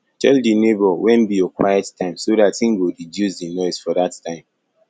tell di neighbour when be your quiet time so dat im go reduce di noise for that time